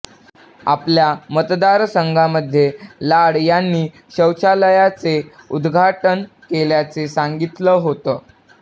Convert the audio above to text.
आपल्या मतदारसंघामध्ये लाड यांनी शौचालयाचे उद्घाटन केल्याचे सांगितलं होतं